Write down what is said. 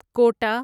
quota